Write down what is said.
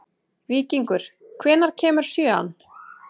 Víkingur, hvenær kemur sjöan?